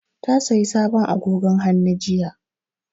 Ta sayi sabon agogon hannu jiya